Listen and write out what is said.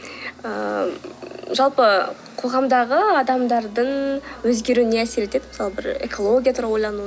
ыыы жалпы қоғамдағы адамдардың өзгеруіне әсер етеді мысалы бір экология туралы ойлану